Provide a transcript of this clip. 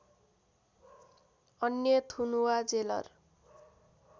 अन्य थुनुवा जेलर